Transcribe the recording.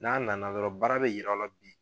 N'a na na dɔrɔn baara bɛ yi yir'aw la bi